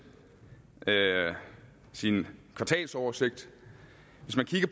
sin kvartalsoversigt